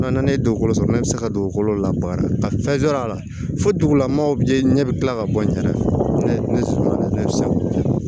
N'a nana ne ye dugukolo sɔrɔ ne bɛ se ka dugukolo labaga a la fo dugulamɔgɔw bɛ ɲɛ bɛ tila ka bɔ n yɛrɛ fɛ ne sumana sa